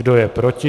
Kdo je proti?